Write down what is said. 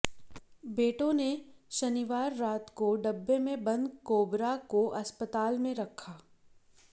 बेटों ने शनिवार रात को डिब्बे में बंद कोबरा को अस्पताल में रखा